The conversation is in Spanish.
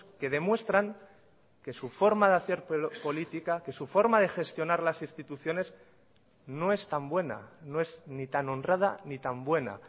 que demuestran que su forma de hacer política que su forma de gestionar las instituciones no es tan buena no es ni tan honrada ni tan buena